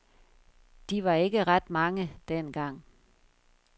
De var ikke ret mange, dengang.